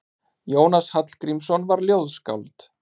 Jónas Hallgrímsson var ljóðskáld.